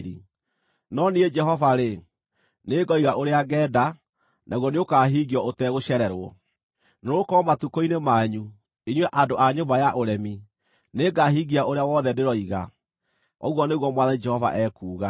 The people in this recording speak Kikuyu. No niĩ Jehova-rĩ, nĩngoiga ũrĩa ngeenda, naguo nĩũkahingio ũtegũcererwo. Nĩgũkorwo matukũ-inĩ manyu, inyuĩ andũ a nyũmba ya ũremi, nĩngahingia ũrĩa wothe ndĩroiga, ũguo nĩguo Mwathani Jehova ekuuga.’ ”